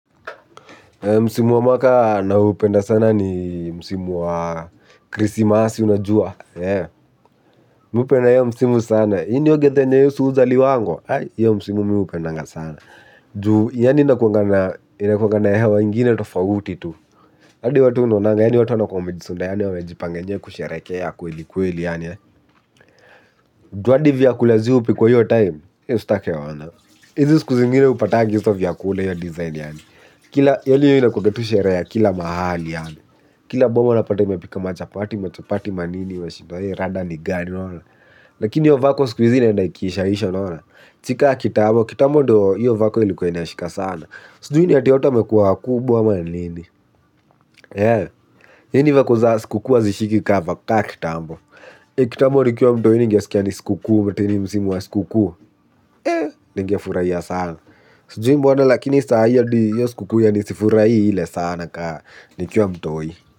Musimu wa mwaka naupenda sana ni msimu wa krisimasi unajua. Mi hupenda hiyo musimu sana. Hii ndo githaa yenye yesu huzaliwangwa? Hiyo msimu mi hupendanga sana. Juu, yaani inakuanga na, inakuwanga na hewa ingine tofauti tu. Hadi watu hunonanga, yaani watu wanakuwa wamejisunda, yaani wamejipanga yenyewe kusherehekea kweli kweli yaani. Juu hadi vyakula zi hupikwa hiyo time, usitake ona. Hizi siku zingine hupatagi vyakula hiyo design, yaani. Kila, yaani hiyo inakuwanga sherehe ya kila mahali, kila boma unapata imepika machapati, machapati, manini, unashindwa rada ni gani, unaona? Lakini hiyo vako siku hizi inaenda ikiisha isha unaona? Si ka kitambo, kitambo ndo hiyo vako ilikuwa inashika sana. Sijui ni ati watu wamekuwa wakubwa ama ni nini. Yaani vako za sikukuu hazishiki ka kitambo. Kitambo nikiwa mtoi ningesikia ni sikukuu, ati ni msimu wa sikukuu. Eeh, ningefurahia sana. Sujui mbona lakini saa hii hadi hiyo sikukuu yaani sifurahii ile sana ka nikiwa mtoi.